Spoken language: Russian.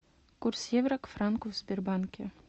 курс евро к франку в сбербанке